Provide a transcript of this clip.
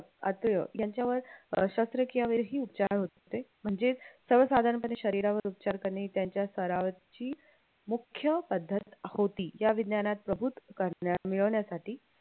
अत्रेय यांच्यावर शास्त्रक्रियावर ही उपचार होते म्हणजे सर्व साधारणपणे शरीरावर उपचार करणे त्यांच्या सरावाची मुख्य पद्धत होती या विज्ञानात प्रभूत करण्या मिळवण्यासाठी